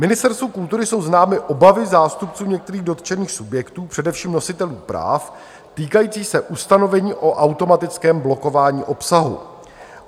Ministerstvu kultury jsou známy obavy zástupců některých dotčených subjektů, především nositelů práv, týkající se ustanovení o automatickém blokování obsahu.